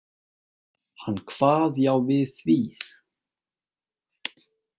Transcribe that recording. Hann kvað já við því.